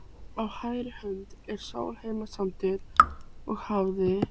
Á hægri hönd er Sólheimasandur og hafið.